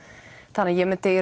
þannig ég myndi